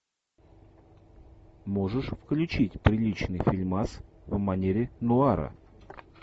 можешь включить приличный фильмас в манере нуара